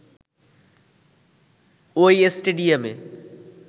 ওই স্টেডিয়ামে